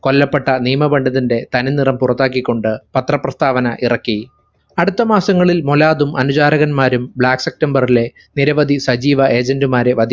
കൊല്ലപ്പെട്ട നിയമപണ്ഡിതന്റെ തനി നിറം പുറത്താക്കി കൊണ്ട് പത്രപ്രസ്താവന ഇറക്കി അടുത്ത മാസങ്ങളിൽ മൊലാദും അനുചാരകന്മാരും black september ലെ നിരവധി സജീവ agent മാരെ വാ